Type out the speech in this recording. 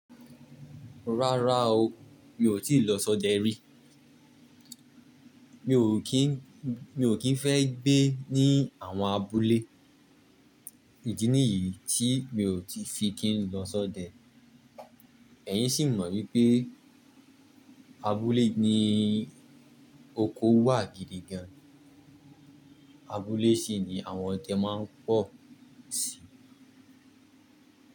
Rárá o, mi ò tíì lọ sọdẹ rí. Mi ò kín, mi ò kín fẹ́ gbé ní àwọn abúlé. Ìdí nìyí tí mi ò ti fi kín lọ sọdẹ. Ẹ̀yin sì mọ̀ wípé abúlé ni oko wà gidi gan. Abúlé sì ni àwọn ọdẹ máa ń pọ̀ sí.